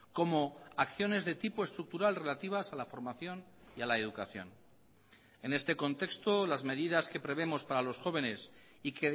como acciones de tipo estructural relativas a la formación y a la educación en este contexto las medidas que prevemos para los jóvenes y